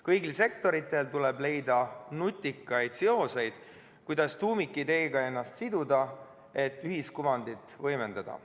Kõigil sektoritel tuleb leida nutikaid seoseid, kuidas tuumikideega ennast siduda, et ühiskuvandit võimendada.